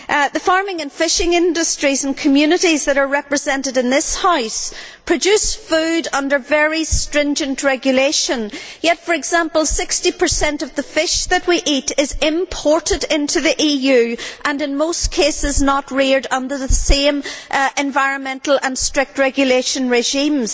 The farming and fishing industries and communities which are represented in this House produce food under very stringent regulation yet, for example, 60 of the fish we eat is imported into the EU and, in most cases, not reared under the same strict environmental and regulatory regimes.